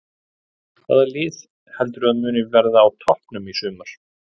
Hvaða lið heldurðu að muni verða á toppnum í sumar?